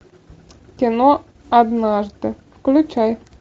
кино однажды включай